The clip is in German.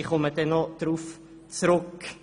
Ich komme noch darauf zurück.